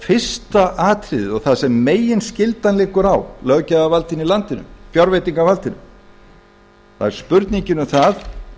fyrsta atriðið og þar sem meginskylda liggur á löggjafarvaldinu í landinu fjárveitingavaldinu það er spurningin um það